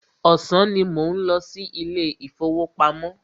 Ọ̀sán ní mò ń lọ sí ilé ìfọwọ́pamo.